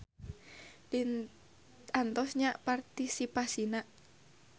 Diantos nya partisipasina.